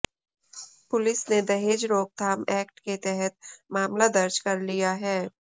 police ने दहेज रोकथाम एक्ट के तहत मामला दर्ज कर लिया है